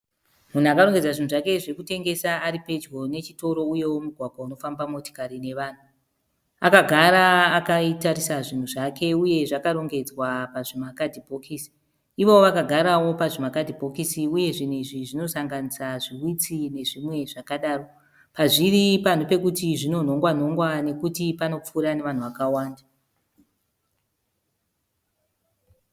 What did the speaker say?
Munhu akarongedza zvinhu zvake zvekutengesa, aripedyo nechitoro, uyewo mugwagwa unofamba motikari nevanhu. Akagara akaitarisa zvinhu zvake uye zvakarongedzwa pazvimakadhibhikisi. Ivowo vakagarawo pazvimakadhibhokisi uye zvinhu izvi zvinosanganisa zvihwitsi nezvimwe zvakadaro. Pazviri panhu pekuti zvinonhongwa nhongwa nekuti panopfuura nevanhu vakawanda.